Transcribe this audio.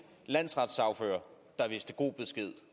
landsretssagfører der vidste god besked